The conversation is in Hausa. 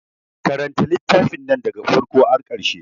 Karanta littafin nan da ga farko har ƙarshe.